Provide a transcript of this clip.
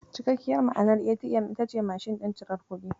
Cikakkiyar ma'anar ATM ita ce "Mashin ɗin cirar kuɗi".